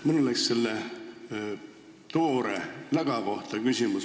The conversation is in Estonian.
Mul on küsimus toore läga kohta.